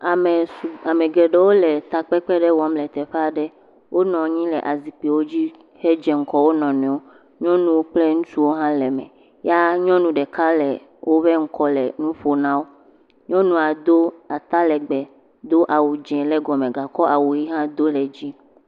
Ame geɖewo le takpekpe ɖe wɔm le teƒe aɖe. Wonɔ anyi le azikpuiwo dzi hedze ŋgɔ wo nɔ nɔewo. Nyɔnuwo kple ŋutsuwo hã le me. Ya nyɔnu ɖeka le woƒe ŋkɔ le nu ƒom na wo. Nyɔnua do atalegbe, do awu dzẽ le gɔme gakɔ awu ɣi hã do ɖe edzi.